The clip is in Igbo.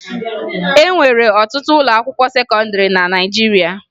E nwere ọtụtụ ụlọakwụkwọ sekọndịrị na Naịjirịa